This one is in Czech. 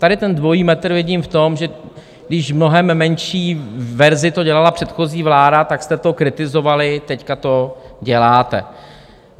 Tady ten dvojí metr vidím v tom, že když v mnohem menší verzi to dělala předchozí vláda, tak jste to kritizovali, teď to děláte.